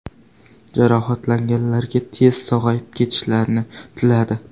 Jarohatlanganlarga tezda sog‘ayib ketishlarini tiladi.